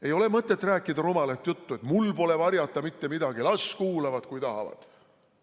Ei ole mõtet rääkida rumalat juttu, et mul pole varjata mitte midagi, las kuulavad, kui tahavad.